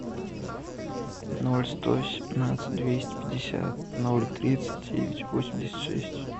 ноль сто семнадцать двести пятьдесят ноль тридцать девять восемьдесят шесть